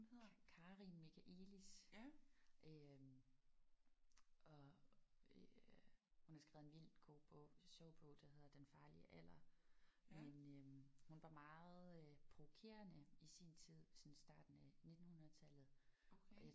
Karin Michaëlis. Øh og øh hun har skrevet en vildt god bog. En sjov bog der hedder Den farlige alder men øh hun var meget øh provokerende i sin tid sådan i starten af nittenhundredetallet